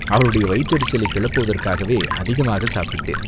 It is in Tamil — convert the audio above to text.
அவளுடைய வயிற்றெரிச்சலைக் கிளப்புவதற்காகவே அதிகமாகச் சாப்பிட்டேன்.